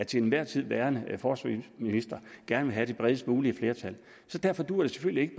til enhver tid værende forsvarsminister gerne vil have det bredest mulige flertal derfor dur det selvfølgelig ikke